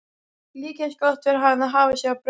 Líka eins gott fyrir hana að hafa sig á braut!